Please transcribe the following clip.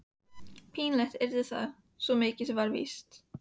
Pínlegt yrði það, svo mikið var víst.